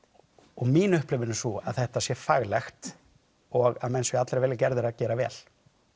og mín upplifun er sú að þetta sé faglegt og menn séu allir að vilja gerðir að gera vel